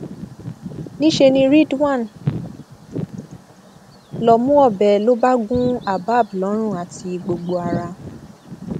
níṣẹ ní ridwan lọọ mú ọbẹ lọ bá gun abab lọrùn àti gbogbo ara